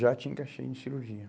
Já te encaixei em cirurgia.